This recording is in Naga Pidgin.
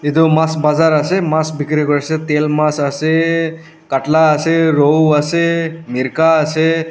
edu mas bazar ase mas bikiri kuriase tail mas ase katla ase rowu ase mirka ase.